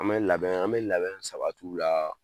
An bɛ labɛn, an bɛ labɛn sabat'u la